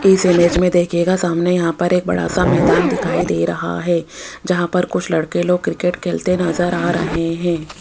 इस इमेज में देखिएगा सामने यहां पर एक बड़ा सा मैदान दिखाई दे रहा है जहां पर कुछ लड़के लोग क्रिकेट खेलते नजर आ रहे हैं।